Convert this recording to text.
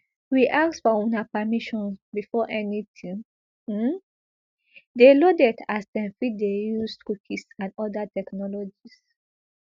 we ask for una permission before anytin um dey loaded as dem fit dey use cookies and oda technologies